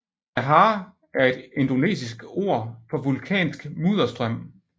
Lahar er et indonesisk ord for vulkansk mudderstrøm